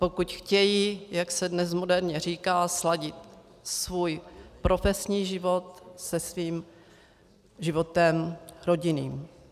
Pokud chtějí, jak se dnes moderně říká, sladit svůj profesní život se svým životem rodinným.